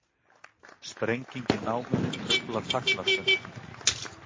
Sprenging í námunni truflar þagnarstund